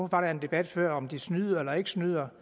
var en debat før om hvorvidt de snyder eller ikke snyder